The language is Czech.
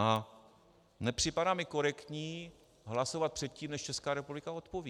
A nepřipadá mi korektní hlasovat předtím, než Česká republika odpoví.